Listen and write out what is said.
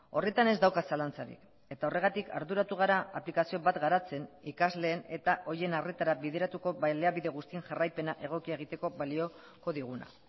horretan ez dauka zalantzarik eta horregatik arduratu gara aplikazio bat garatzen ikasleen eta horien arretara bideratuko baliabide guztien jarraipena egokia egiteko balioko diguna